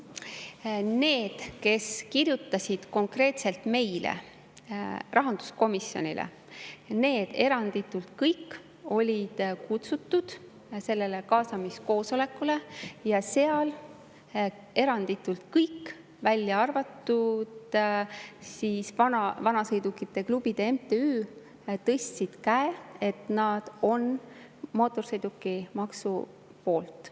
Eranditult kõik, kes kirjutasid konkreetselt meile, rahanduskomisjonile, olid kutsutud sellele kaasamiskoosolekule ja seal eranditult kõik, välja arvatud siis vanasõidukite klubide MTÜ, tõstsid käe, et nad on mootorsõidukimaksu poolt.